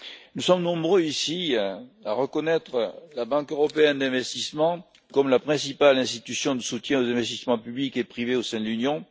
Nous sommes nombreux, ici, à reconnaître la Banque européenne d'investissement comme la principale institution de soutien aux investissements publics et privés au sein de l'Union.